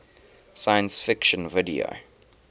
science fiction video